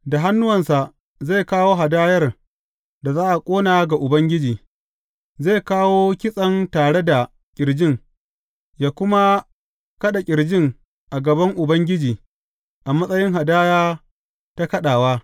Da hannuwansa zai kawo hadayar da za a ƙona ga Ubangiji; zai kawo kitsen tare da ƙirjin, yă kuma kaɗa ƙirjin a gaban Ubangiji a matsayin hadaya ta kaɗawa.